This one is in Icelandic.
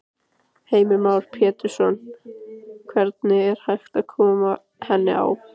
Heimir Már Pétursson: Hvernig er hægt að koma henni á?